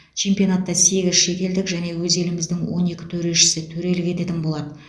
чемпионатта сегіз шетелдік және өз еліміздің он екі төрешісі төрелік ететін болады